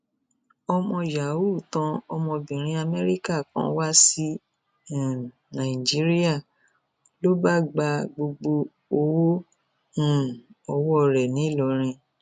ọmọ yày tan ọmọbìnrin amẹríkà kan wá sí um nàìjíríà ló bá gba gbogbo owó um owó rẹ ńìlọrin